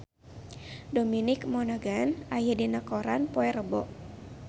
Dominic Monaghan aya dina koran poe Rebo